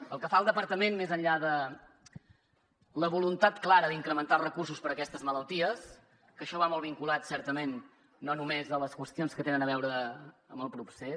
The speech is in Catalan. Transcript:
pel que fa al departament més enllà de la voluntat clara d’incrementar recursos per a aquestes malalties que això va molt vinculat certament no només a les qüestions que tenen a veure amb el procés